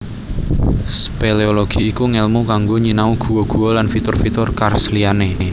Spéléologi iku ngèlmu kanggo nyinau guwa guwa lan fitur fitur karst liyané